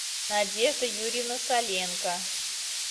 надежда юрьевна саленко